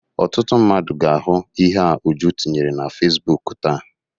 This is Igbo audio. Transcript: Ọtụtụ mmadụ ga-ahụ ihe a Uju tinyere na Fesibuuku taa.